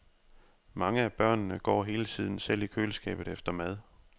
Mange af børnene går hele tiden selv i køleskabet efter mad.